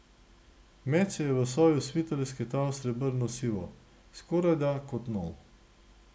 Meč se je v soju svita lesketal srebrnosivo, skorajda kot nov.